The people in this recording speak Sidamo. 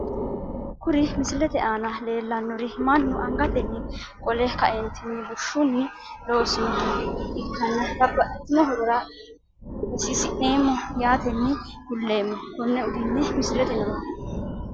Kuri misilete aana leeltanori manu angateni qole kaeentini bushshuni loonsoniha ikanna babaxitino horora hosiisineemo yaateni kuleemo kone uduune misilete nooha.